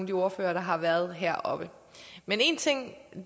de ordførere der har været heroppe men en ting